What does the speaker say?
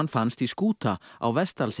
fannst í skúta á